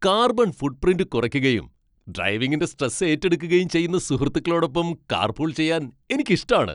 Carbon footprint കുറയ്ക്കുകയും ഡ്രൈവിങിന്റെ stress ഏറ്റെടുക്കുകയും ചെയ്യുന്ന സുഹൃത്തുക്കളോടൊപ്പം കാർപൂൾ ചെയ്യാൻ എനിക്കിഷ്ടാണ്.